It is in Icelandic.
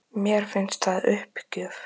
Mills segist enn stefna að sigri